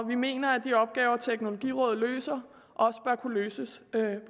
vi mener at de opgaver teknologirådet løser også bør kunne løses